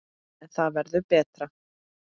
En það verður betra.